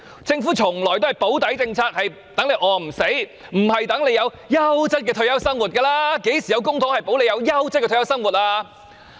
政府從來都是推行"保底"政策，讓市民餓不死，而不是讓市民有優質的退休生活，曾幾何時以公帑保障市民有優質的退休生活呢？